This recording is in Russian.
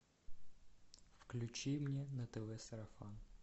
включи мне на тв сарафан